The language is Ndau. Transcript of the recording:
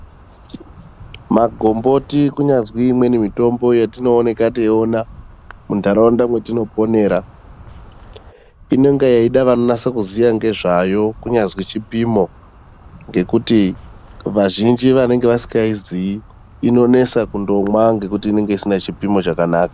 Magomboti kunyazwi imweni mitombo yatinooneka teiona muntaraunda metinoponera. Inonga yeida vanonase kuziya ngezveyo kunyazwi chipino ngekuti vazhinji vanenge vasikaiziyi inonesa kundomwa nekuti inenge isina chipimo chakanaka.